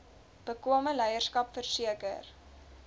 bekwame leierskap verseker